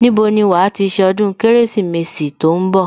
Níbo ni wàá ti ṣe ọdún Kérésìmesì tó ń bọ̀